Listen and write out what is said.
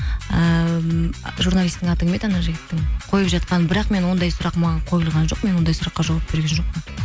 ііі журналистің аты кім еді анау жігіттің қойып жатқан бірақ мен ондай сұрақ маған қойылған жоқ мен ондай сұраққа жауап берген жоқпын